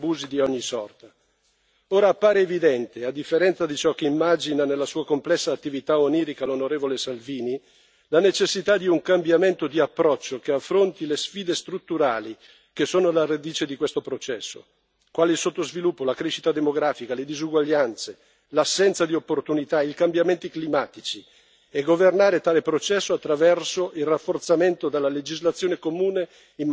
Ora appare evidente, a differenza di ciò che immagina nella sua complessa attività onirica l'onorevole Salvini, la necessità di un cambiamento di approccio, che affronti le sfide strutturali che sono alla radice di questo processo, quali il sottosviluppo, la crescita demografica, le disuguaglianze, l'assenza di opportunità, i cambiamenti climatici, e la necessità di governare tale processo attraverso il rafforzamento della legislazione comune in materia di asilo e immigrazione.